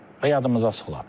Və yadımıza salaq.